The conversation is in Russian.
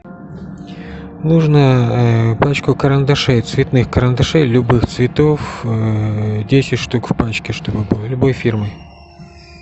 нужно пачку карандашей цветных карандашей любых цветов десять штук в пачке чтобы было любой фирмы